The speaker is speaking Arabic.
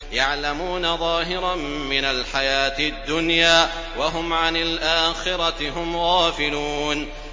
يَعْلَمُونَ ظَاهِرًا مِّنَ الْحَيَاةِ الدُّنْيَا وَهُمْ عَنِ الْآخِرَةِ هُمْ غَافِلُونَ